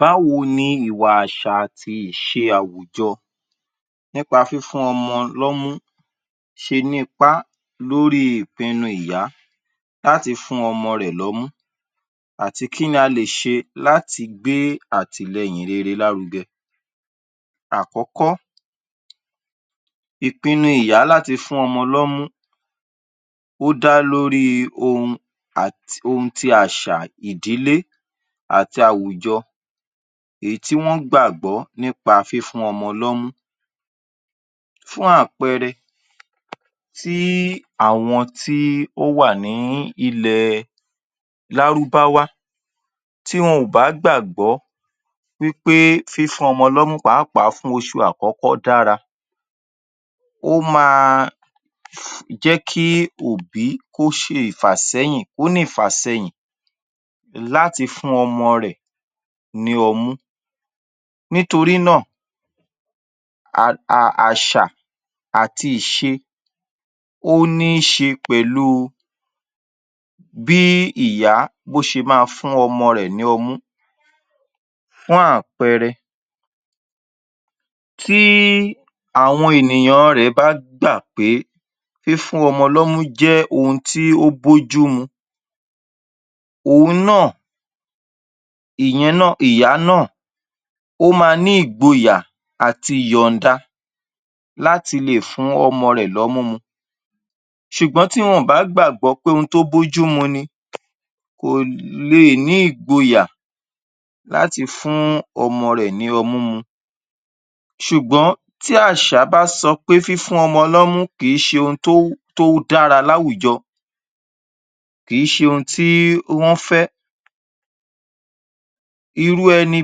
Báwo ni ìwà, àṣà àti ìṣe àwùjọ nípa fífún ọmọ lọ́mú ṣe ní ipá lórí ìpinnu ìyá láti fún ọmọ rẹ̀ lọ́mú àti kí ni a lè ṣe láti gbé àtìlẹyìn rere lárugẹ? Àkọ́kọ́, ìpinnu ìyá láti fún ọmọ lọ́mú ó dá lórí ohun um ohun ti àṣà ìdílé àti àwùjọ, èyí tí wọ́n gbàgbọ́ nípa fífún ọmọ lọ́mú. Fún àpẹẹrẹ, tí àwọn tí ó wà ní ilẹ̀ Lárúbáwá tí wọn ò bá gbàgbọ́ wí pé fífún ọmọ lọ́mú pàápàá fún oṣù àkọ́kọ́ dára. Ó máa jẹ́ kí òbí kó ṣe ìfàsẹ́yìn, kó ní ìfàsẹyìn láti fún ọmọ rẹ̀ ní ọmú. Nítorí náà, um àṣà àti ìṣe ó ní í ṣe pẹ̀lú bí ìyá bó ṣe máa fún ọmọ rẹ̀ ní ọmú. Fún àpẹẹrẹ tí àwọn ènìyàn rẹ̀ bá gbà pé fífún ọmọ lọ́mú jẹ́ ohun tí ó bójú mu, òun náà, ìyen náà, ìyá náà ó ma ní ìgboyà àti yọ̀ǹda láti lè fún ọmọ rẹ̀ lọ́mú mu. Sùgbọ́n tí wọn ò bá gbàgbọ́ póhun tó bójú mu ni, kò leè ní ìgboyà láti fún ọmọ rẹ̀ ní ọmú mu. Ṣùgbọ́n tí àṣà bá sọ pé fífún ọmọ lọ́mú kì í ṣe ohún tó um dára láwùjọ, kì í ṣe ohun tí ó fẹ́, irú ẹni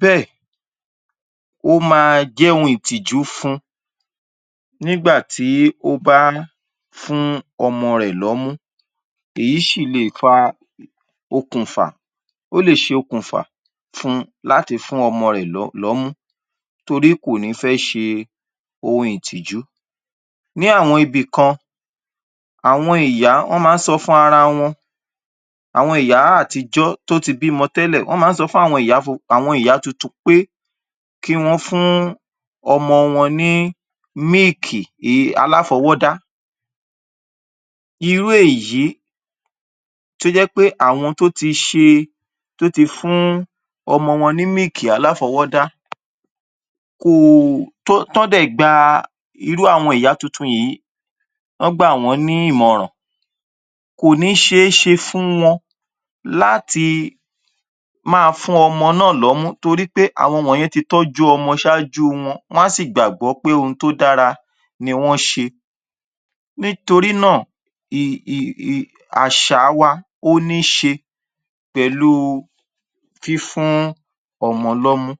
bẹ́ẹ̀, ó ma jẹ́ ohun ìtìjú fun, nígbà tí ó bá ń fún ọmọ rẹ̀ lọ́mú. Èyí ṣì leè fa okùnfà, ó lè ṣe okùnfà fun láti fún ọmọ rẹ̀ um lọ́mú torí kò ní fẹ́ ṣe ohun ìtìjú. Ní àwọn ibìkan, àwọn ìyá, wọ́n ma ń sọ fún ara wọn, àwọn ìyá àtijọ́ tó ti bímọ tẹ́lẹ̀, wọ́n ma ń sọ fún àwọn um ìyá tuntun pe kí wọ́n fún ọmọ wọn ní míìkì um aláfọwọ́dá. Irú èyí tó jẹ́ pé àwọn tó ti ṣe tó ti fún ọmọ wọn ní míìkì aláfọwọ́dá kò, tọ́n um dẹ̀ gba irú àwọn ìyá tuntun yìí, wọ́n gbà wọ́n ní ìmọ̀ràn kò ní ṣe é ṣe fún wọn láti máa fún ọmọ náà lọ́mú torí pé àwọn wọ̀nyẹn ti tọ́jú ọmọ ṣaájú wọn. Wọ́n á sì gbàgbọ́ pé ohun tó dára ni wọ́n ṣe. Nítorí náà, um àṣà wa ó ní ṣe pẹ̀lú fífún ọmọ lọ́mú